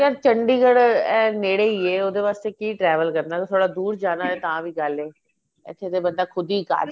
ਯਾਰ chandigarh ਏ ਨੇੜੇ ਈ ਏ ਉਹਦੇ ਵਾਸਤੇ ਕਿ travel ਕਰਨਾ ਥੋੜਾ ਦੂਰ ਜਾਣਾ ਏ ਤਾਂ ਵੀ ਗੱਲ ਏ ਇੱਥੇ ਤਾਂ ਬਣਦਾ ਖੁਦ ਈ car